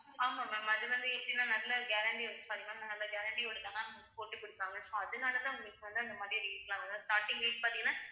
ஆமா ma'am அது வந்து எப்படின்னா நல்லா guarantee use பண்ணலாம் அந்த guarantee யோட தான் ma'am போட்டுக் கொடுப்பாங்க so அதனாலதான் உங்களுக்கு வந்து அந்த மாதிரி rate லாம் வரும் அதாவது starting rate பாத்தீங்கன்னா